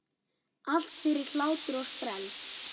Allt fyrir hlátur og sprell!